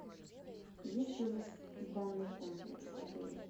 есть ли у вас банный комплекс в отеле